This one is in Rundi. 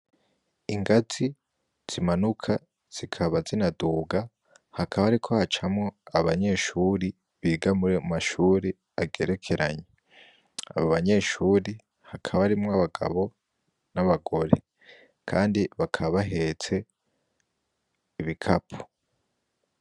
Igazi zimanuka zikaba zinaduga, hakaba hariko hacamwo abanyeshure biga murayo mashuri agerekeranye, abo banyeshure hakaba harimwo abagabo n'abagore, kandi bakaba bahetse ibikapo.